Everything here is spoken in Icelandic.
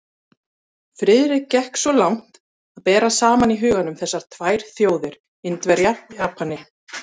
Friðrik gekk svo langt að bera saman í huganum þessar tvær þjóðir, Indverja og Japani.